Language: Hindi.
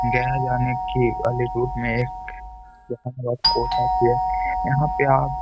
गया यानि की यहाँ पे आप --